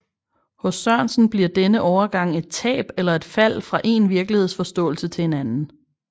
Hos Sørensen bliver denne overgang et tab eller et fald fra én virkelighedsforståelse til en anden